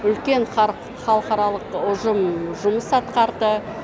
үлкен халықаралық ұжым жұмыс атқарды